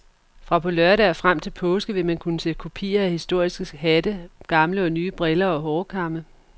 Fra på lørdag og frem til påske vil man kunne se kopier af historiske hatte, gamle og nye briller og hårkamme.